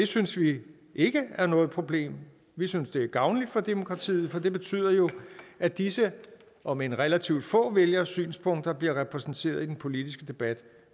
synes vi ikke er noget problem vi synes det er gavnligt for demokratiet for det betyder jo at disse omend relativt få vælgeres synspunkter bliver repræsenteret i den politiske debat